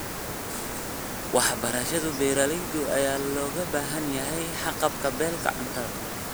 Waxbarashada beeralayda ayaa looga baahan yahay haqab-beelka cuntada.